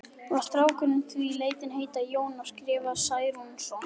Var strákurinn því látinn heita Jón og skrifaður Særúnarson.